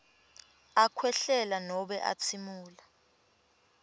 akhwehlela nobe atsimula